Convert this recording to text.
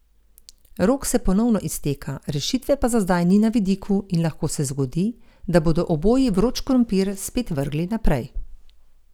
Rok se ponovno izteka, rešitve pa za zdaj ni na vidiku in lahko se zgodi, da bodo oboji vroč krompir spet vrgli naprej.